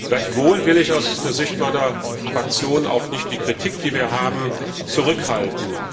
Gleichwohl will ich aus der Sicht meiner Fraktion auch nicht die Kritik, die wir haben, zurückhalten.